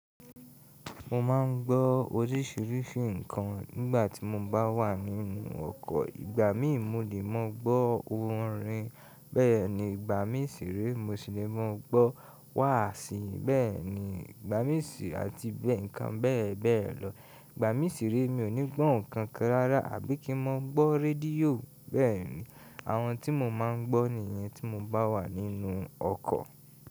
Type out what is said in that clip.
Mo máa ń gbọ́ oríṣiríṣi nǹkan nígbà tí mo bá wà nínú ọkọ̀. Ìgbà mí ì mo lé máa gbọ́ orin bẹ́ẹ̀ ni, ìgbà mí ì sì re mo sì lé máa gbọ́ wàásí bẹ́ẹ̀ ni, ìgbà mí ì sì àti ń kan bẹ́ẹ̀ bẹ́ẹ̀ lọ. Ìgbà mí ì sì re mi ò ní gbọ̀ ǹkan kan rárá àbí kí n máa gbọ́ radíò bẹ́ẹ̀ni. Àwọn tí mo máa ń gbọ́ nìyẹn tí mo bá wà nínú ọkọ̀